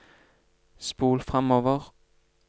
spol framover